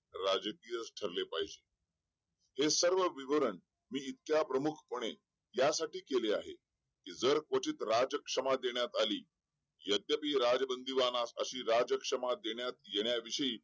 पण आई नेहमी आनंदात ठेवणे.माझ्या करिता घेतलेल्या कष्टाचे हे कदाचित फळ हेच माझ्या जीवनाचे खरे उद्दिष्ट आहे.